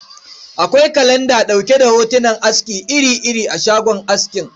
Akwai kalanda ɗauke da hotunan aski iri-iri a shagon askin.